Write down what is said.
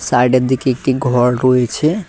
Side -এর দিকে একটি ঘর রয়েছে।